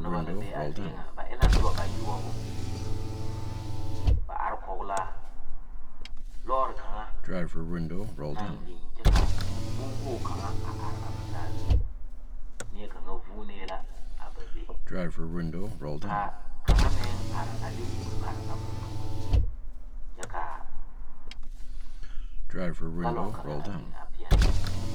Noba la be a zie kaŋa ba e la noba bayoɔbu ba are kɔge la lɔre kaŋa naŋ biŋ kyɛ ka bon wogi kaŋa a are a ba saa zuŋ nie kaŋa voonee la a ba be ka kaŋa meŋ are a de o nu pare a bon kaŋa zu kyɛ ka galuŋ kaŋa a biŋ a pegle ba.